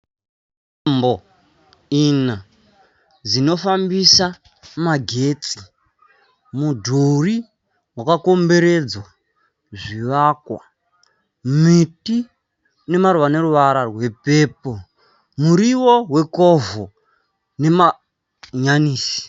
Tambo ina dzinofambisa magetsi. Mudhuri wakakomberedza zvivakwa. Miti ine maruva ane ruvara rwepepuro. Muriwo wekovho nemahanyanisi.